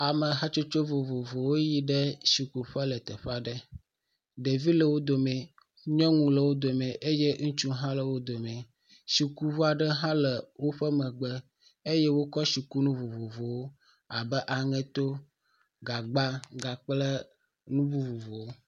ame hatsotso vovovowo yiɖe si kuƒe le teƒeaɖe ɖevi le wodomɛ nyɔŋu le wodomɛ eye ŋutsu hã le wodomɛ sikuʋuaɖe hã le wóƒe megbe eye wókɔ si kunu vovovowo abe aŋeto gagba gakple nu.vovovowo